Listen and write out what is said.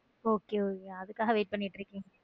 Okay okay அதுக்காக wait பண்ணிட்டு இருக்கீங்களா?